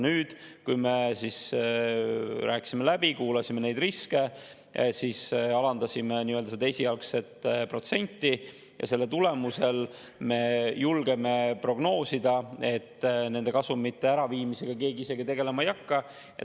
Nüüd, kui me rääkisime läbi, kuulasime neid riske, alandasime seda esialgset protsenti, siis selle tulemusel me julgeme prognoosida, et nende kasumite äraviimisega keegi tegelema ei hakka.